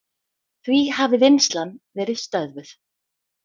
Því hafi vinnslan verið stöðvuð.